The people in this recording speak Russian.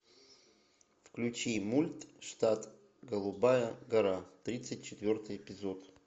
включи мульт штат голубая гора тридцать четвертый эпизод